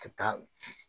Ka taa